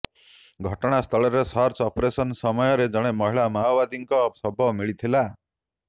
ଘଟଣାସ୍ଥଳରେ search operation ସମୟରେ ଜଣେ ମହିଳା ମାଓବାଦୀଙ୍କ ଶବ ମିଳିଥିଲା